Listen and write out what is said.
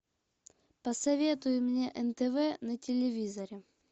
посоветуй мне нтв на телевизоре